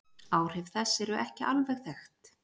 Áhrif þess eru ekki alveg þekkt.